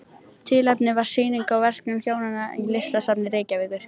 Tilefnið var sýning á verkum hjónanna í Listasafni Reykjavíkur.